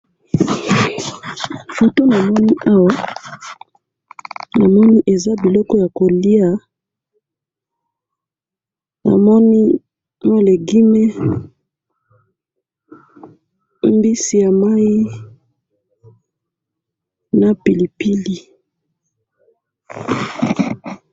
foto namoni awa `,namoni eza biloko ya koliya namoni ba legume, mbisi ya mayi na pilipili